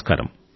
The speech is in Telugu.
నమస్కారం